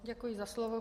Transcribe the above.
Děkuji za slovo.